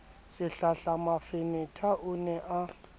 sehlahla mafenetha o ne a